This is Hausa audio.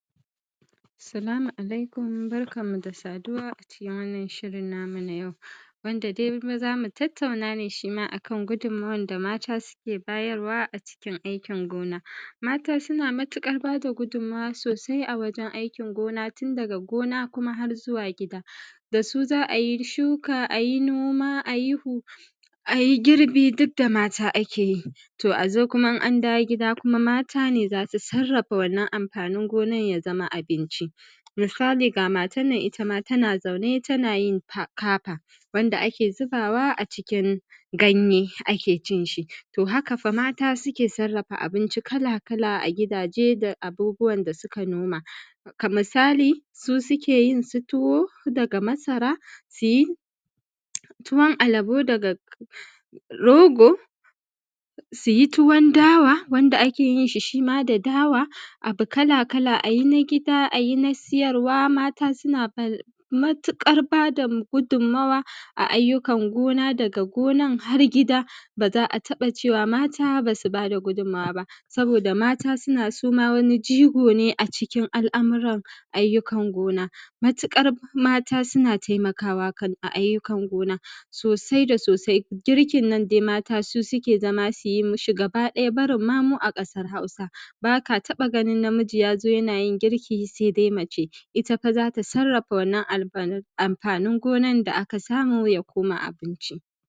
Salamu alaikum, barkanmu da saduwa a cikin wannan shirin namu na yau wanda dai za mu tattauna ne shi ma a kan gudunmuwan da mata suke bayarwa a cikin aikin gona. Mata suna matuƙar ba da gudunmawa sosai a wajen aikin gona tun daga gona kuma har zuwa gida da su za a yi shuka, za a yi noma, a yi huɗa a yi girbi duk da mata ake yi to a zo kuma in an dawo gida kuma mata ne za su saraffa wannan amfanin gonan ya zama abinci. Misali ga matan ita ma tana zaune tana yin haka wanda ake zubawa a cikin ganye ake cin shi to haka fa mata suke saraffa abinci kala kala a gidaje da abubɓuwar da suka noma. a misali su suke yin su tuwo daga masara, su yi tuwon alabo daga rogo, su yi tuwon dawa wanda ake yin shi, shi ma dawa. Abu kala-kala a yi na gida a yi na siyarwa, mata suna fa matuƙar ba da gudunmawa a ayyukan gona dara har gida ba za a tabba cewa mata ba su ba da gudunmawa ba. Saboda mata suna, su ma wani jigo ne a cikin al'amurar ayyukan gona matuƙar mata suna taimakawa kan ayyukan gona sosai da sosai. Girkin nan dai mata su suke zama su yi ma shi gabaɗaya barin ma mu a ƙasan Hausa ba ka tabba ganin namiji ya zo yana yin girki sai dai mace, ita fa za ta saraffa wannan al'fanin amfanin gonan da aka samu ya koma abinci.